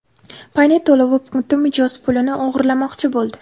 Paynet to‘lov punkti mijoz pulini o‘g‘irlamoqchi bo‘ldi.